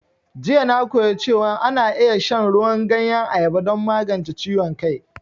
Jiya na koya cewan ana iya shan ruwan ganyen ayaba don magance ciwon kai